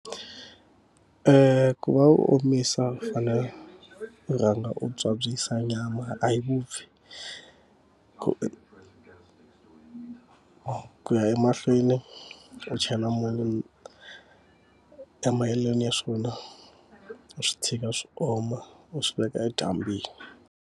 ku va u omisa u fanele u rhanga u byabyisa nyama, a yi vupfi ku ya emahlweni, u chela munyu . Emahelweni ya swona u swi tshika swi oma u swi veka edyambyini.